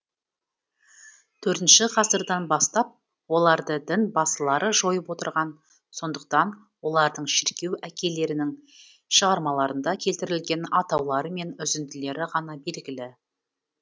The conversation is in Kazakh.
төртінші ғасырдан бастап оларды дін басылары жойып отырған сондықтан олардың шіркеу әкейлерінің шығармаларында келтірілген атаулары мен үзінділері ғана белгілі